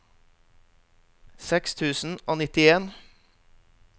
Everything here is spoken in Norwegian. seks tusen og nittien